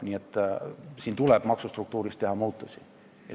Nii et siin tuleb maksustruktuuris muudatusi teha.